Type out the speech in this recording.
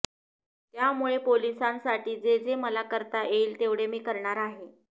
त्यामुळे पोलिसांसाठी जे जे मला करता येईल तेवढे मी करणार आहे